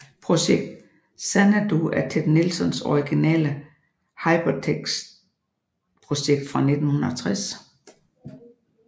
Projekt Xanadu er Ted Nelsons originale Hypertekstprojekt fra 1960